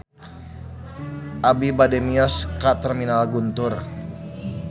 Abi bade mios ka Terminal Guntur